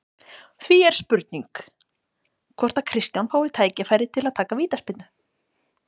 Því er spurning hvort að Kristján fái tækifæri til að taka vítaspyrnu?